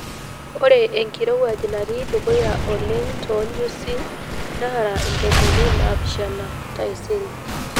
ore enkirowuaj natii dukuya joleng too nyusii naara intomomni naapishana taisere